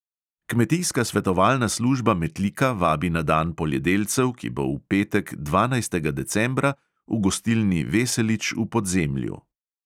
Kmetijska svetovalna služba metlika vabi na dan poljedelcev, ki bo v petek, dvanajstega decembra, v gostilni veselič v podzemlju.